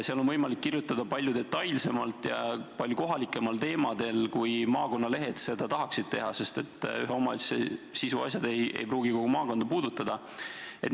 Seal on võimalik kirjutada palju detailsemalt ja palju kohalikumatel teemadel, kui maakonnalehed seda tahaksid teha, sest ühe omavalitsuse siseasjad ei pruugi kogu maakonda puudutada.